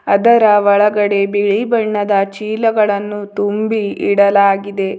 ಅದರ ಒಳಗಡೆ ಬಿಳಿ ಬಣ್ಣದ ಚೀಲಗಳನ್ನು ತುಂಬಿ ಇಡಲಾಗಿದೆ.